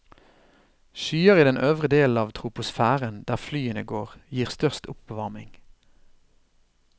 Skyer i den øvre delen av troposfæren, der flyene går, gir størst oppvarming.